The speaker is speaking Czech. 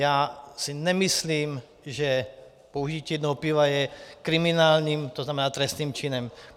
Já si nemyslím, že požití jednoho piva je kriminálním, to znamená trestným činem.